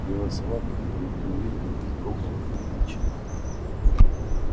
белая сова которую никто не видел вздрогнула на моем плече